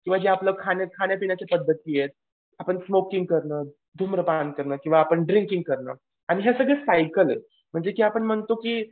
किंवा जे आपलं खाणं खाण्या पिण्याचे पद्धत जे आहे. आपण स्मोकिंग करणं, धूम्रपान करणं किंवा आपण ड्रिंकिंग करणं. आणि या सगळ्या सायकल आहेत. म्हणजे जे की आपण म्हणतो की